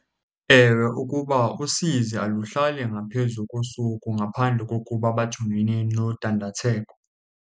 Ewe, ukuba usizi aluhlali ngaphezu kosuku ngaphandle kokuba bajongene nodandatheko.